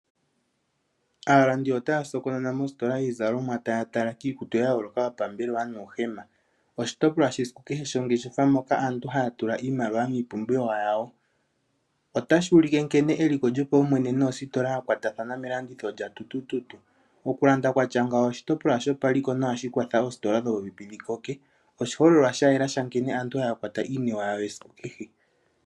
Aalandi otaa sokonona mositola yiizalomwa taa tala kiikutu ya yooloka yopambelewa nuuhema. Oshitopolwa shesiku kehe shongeshefa moka aantu haa tula iimaliwa miipumbiwa yawo. Otashi ulike nkene eliko lyopaumwene noositola yakwatathana melanditho lyatutututu. Okulanda kwatya ngawo oshitopolwa shopaliko nohashi kwatha oositola dhikoke. Oshiholelwa sha yela shankene aantu haakwata iiniwe yawo yesiku kehe.